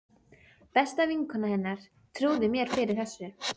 Besta vinkona hennar trúði mér fyrir þessu.